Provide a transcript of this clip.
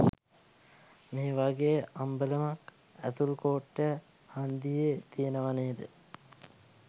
මේ වගේ අම්බලමක් ඇතුල් කෝට්ටේ හන්දියේ තියෙනවා නේද?